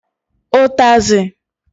Utazi